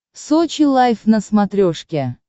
сочи лайф на смотрешке